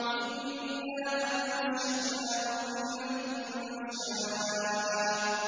إِنَّا أَنشَأْنَاهُنَّ إِنشَاءً